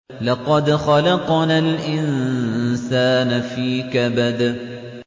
لَقَدْ خَلَقْنَا الْإِنسَانَ فِي كَبَدٍ